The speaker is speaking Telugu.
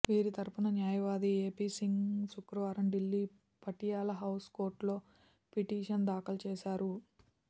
వీరి తరపున న్యాయవాది ఎపి సింగ్ శుక్రవారం ఢిల్లీ పటియాలా హౌస్ కోర్టులో పిటిషన్ దాఖలు చేశారు